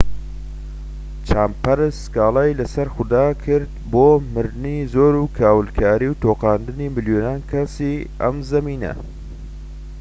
چامبەرس سكالای لەسەر خوداوەند کرد بۆ مردنی زۆر و کاولکاری و تۆقاندنی ملیۆنان کەسی ئەم زەویە